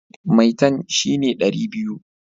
Maitan shi ne dari biyu